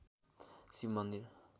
शिव मन्दिर